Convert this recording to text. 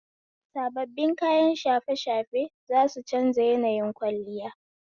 Sababbin kayan shafe shafe za su canza yanayin kwalliya.